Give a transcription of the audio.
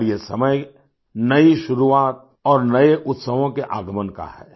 और यह समय नई शुरुआत और नए उत्सवों के आगमन का है